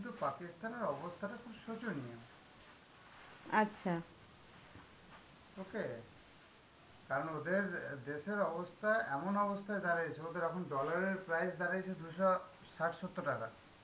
okay? কারণ ওদের অ্যাঁ দেশের অবস্থা, এমন অবস্থায় দাড়াইছে, ওদের এখন dollar এর price দাড়াইছে দু’শ ষাট-সত্তর টাকা,